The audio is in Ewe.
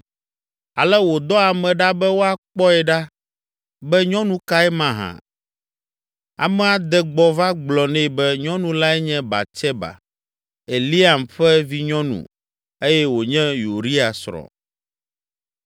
ale wòdɔ ame ɖa be woakpɔe ɖa be nyɔnu kae mahã. Amea de gbɔ va gblɔ nɛ be nyɔnu lae nye Batseba, Eliam ƒe vinyɔnu eye wònye Uria srɔ̃.